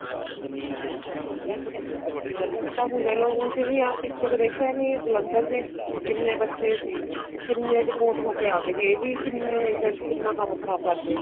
IELTS ਤਾਂ ਹੁਣ ਦੇਖਲੋ ਉੱਝ ਵੀ ਆ ਪਿੱਛੇ ਦੇਖਿਆ ਨਹੀਂ ਜਲੰਧਰ ਦੇ ਕਿੰਨੇ ਬੱਚੇ ਸੀ ਉਹ ਕਿੰਨੇ deport ਹੋ ਕੇ ਆ ਗਏ ਇਹ ਵੀ ਕਿੰਨੇ agent ਕਿੰਨਾ ਕੰਮ ਖ਼ਰਾਬ ਕਰਗੇ